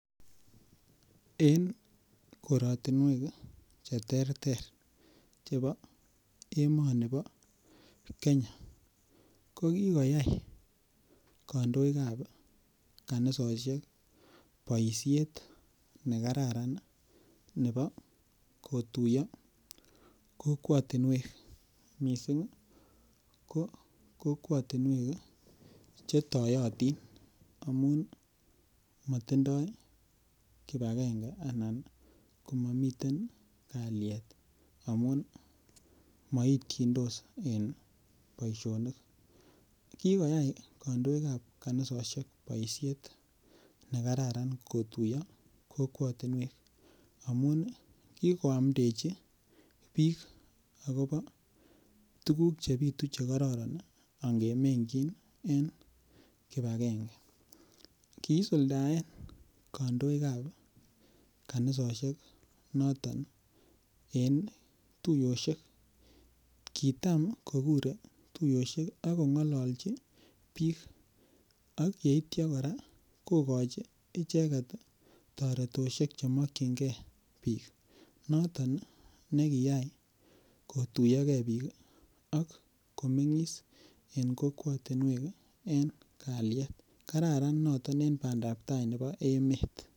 En korotinwek cheterter chebo emoni bo kenya kokikoyai kandoikab kanisosiek boisiet nekararan ne bo kotuiyo kokwotinwek, missing ii ko kokwotinwek chetoyotin amun motindoi kipakenge anan ko momiten kaliet amun moityindos en boisionik, kikoyai kandoikab kanisosiek boisiet nekararan kotuiyo kokwotinwek amun kikoamndechi biik akopo tukuk chebitu chekororon angemengyin en kipakenge kiisuldaen kandoikab kanisosiek noton en tuiyosiek, kitam kokure tuiyosiek akong'ololchi biik ak yeityia kora kokochi icheket ii toretosiek chemokyingee biik noton nekiyai kotuiyoke biik ak komeng'is en kokwotinwek en kaliet kararan noton en bandab tai nebo emet .